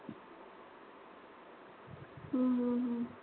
हम्म अ